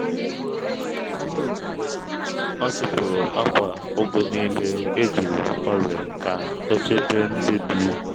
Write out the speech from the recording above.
ọ tụpụ̀rù akwa ugu niile e juru ọrịa ka ọ chebe ndị dị